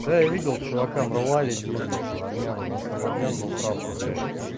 да я видел чувака номрвали дембельку армян у нас там армян был прапор блять